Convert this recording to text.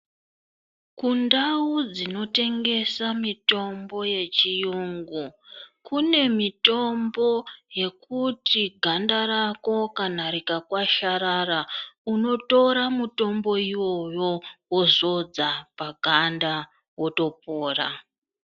Kundau dzinotengesa mutombo yechiyungu kunemitombo yekuti ganda rako kana rikakasharara unotora mitombo iyoyo wozodza paganda wotopora.